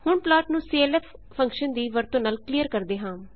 ਹੁਣ ਪਲਾਟ ਨੂੰ clf function ਦੀ ਵਰਤੋਂ ਨਾਲ ਕਲੀਅਰ ਕਰਦੇ ਹਾਂ